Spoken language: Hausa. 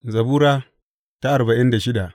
Zabura Sura arba'in da shida